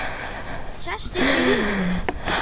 Hún sest upp í rúminu.